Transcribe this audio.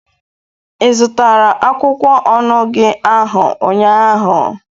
Ị zụtara akwụkwọ onugy ahụ ụnyaahụ?